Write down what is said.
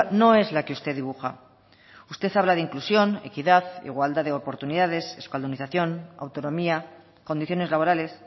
no es la que usted dibuja usted habla de inclusión equidad igualdad de oportunidades euskaldunización autonomía condiciones laborales